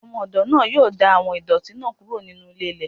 Ọmọ-ọdọ naa yoo da awọn idọti naa kuro ninu ílé- ílè.